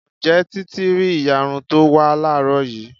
Ǹjẹ́ títí rí ìyarun to ń wá láàrọ́ yìí?